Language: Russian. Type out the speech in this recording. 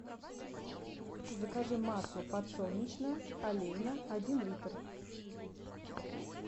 закажи масло подсолнечное олейна один литр